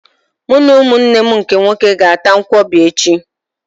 Mụ na ụmụnne m ndị nwoke ga-ata nkwọbi echi.